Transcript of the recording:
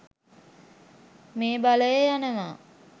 මේ බලය යනවා.